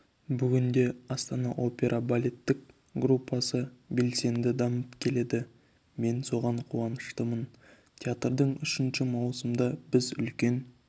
бүгінде астана опера балеттік труппасы белсенді дамып келеді мен соған қуаныштымын театрдың үшінші маусымында біз үлкен